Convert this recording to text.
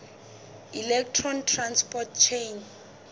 electron transport chain